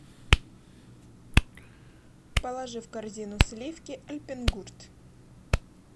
положи в корзину сливки альпенгурт